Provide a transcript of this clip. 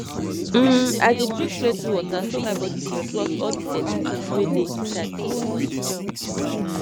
hmm i dey drink plenty water so my bodi fit flush all the dirty tins wey dey inside comot